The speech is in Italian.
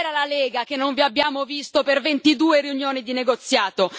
Dov'era la Lega che non vi abbiamo visto per 22 riunioni di negoziato?